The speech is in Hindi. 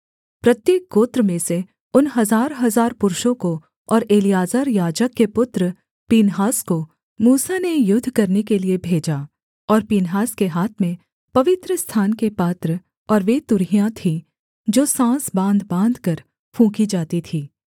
प्रत्येक गोत्र में से उन हजारहजार पुरुषों को और एलीआजर याजक के पुत्र पीनहास को मूसा ने युद्ध करने के लिये भेजा और पीनहास के हाथ में पवित्रस्थान के पात्र और वे तुरहियां थीं जो साँस बाँध बाँधकर फूँकी जाती थीं